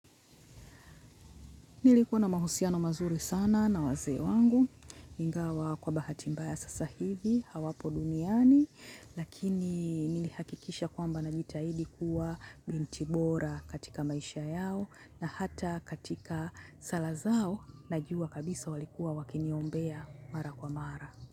Nilikuwa na mahusiano mazuri sana na wazee wangu, ingawa kwa bahati mba ya sasa hivi, hawapo duniani, lakini nilihakikisha kwamba na jitahidi kuwa bintibora katika maisha yao na hata katika sala zao, najua kabisa walikuwa wakiniombea mara kwa mara.